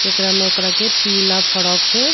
एकरा में ओकरा के पीला फ्राक से --